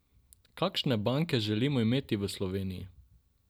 Kakšne banke želimo imeti v Sloveniji?